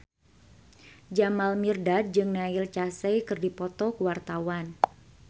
Jamal Mirdad jeung Neil Casey keur dipoto ku wartawan